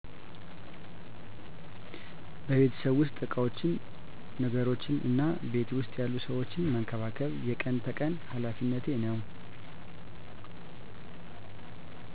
በቤተሰቤ ዉስጥ እቃወችን ነገሮችነ እና ቤት ዉስጥ ያሉ ሰወችን መንከባከብ የቀን ተቀን ሃላፌነቴ ነዉ።